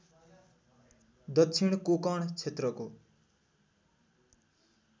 दक्षिण कोंकण क्षेत्रको